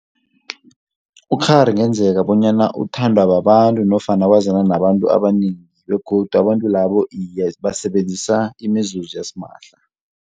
Ukghari kungenzeka bonyana uthandwa babantu nofana wazana nabantu abanengi begodu abantu labo iye basebenzisa imizuzu yasimahla.